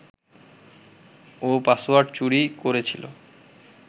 ও password চুরি করেছিল